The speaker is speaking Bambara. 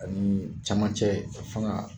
Ani cɛmancɛ fanga